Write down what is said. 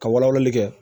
Ka wala walali kɛ